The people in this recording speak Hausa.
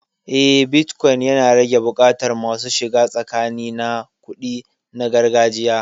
Eh, bitcoin yana rage buƙatar masu shiga tsakani na kuɗi na gargajiya.